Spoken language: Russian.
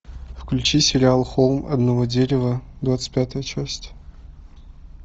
включи сериал холм одного дерева двадцать пятая часть